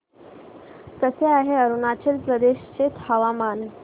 कसे आहे अरुणाचल प्रदेश चे हवामान